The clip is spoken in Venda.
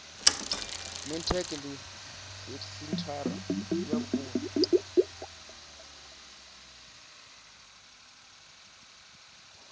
mintek ndi senthara ya vhukoni